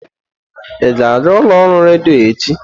Ị ga-aga ụlọ ọrụ redio echi?